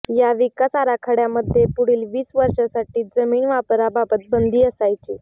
या विकास आराखड्यामध्ये पुढील वीस वर्षांसाठी जमीन वापराबाबत बंदी असायची